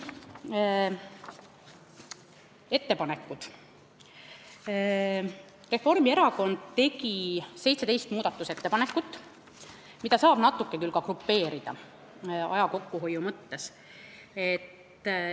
Reformierakond tegi 17 muudatusettepanekut, mida saab aja kokkuhoiu mõttes küll natuke grupeerida.